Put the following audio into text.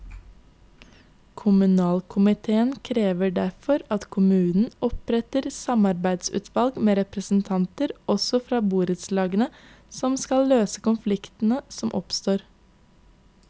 Kommunalkomitéen krever derfor at kommunen oppretter samarbeidsutvalg med representanter også fra borettslagene, som skal løse konflikter som oppstår.